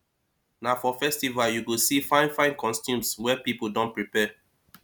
na for festival you go see fine fine costumes wey pipo don prepare